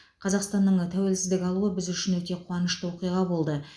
қазақстанның тәуелсіздік алуы біз үшін өте қуанышты оқиға болды